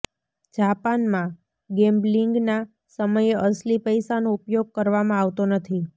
જાપાનમાં ગેમ્બ્લીંગના સમયે અસલી પૈસાનો ઉપયોગ કરવામાં આવતો નથી